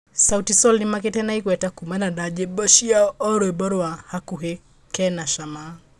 Sauti sol nĩmagĩte na igweta kumana na nyĩmbo ciao oho rwimbo rwa "Gakũhi kena cama"